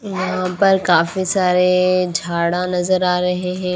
यहां पर काफी सारे झाड़ा नजर आ रहे हैं।